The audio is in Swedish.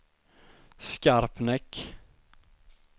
Skarpnäck